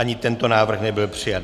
Ani tento návrh nebyl přijat.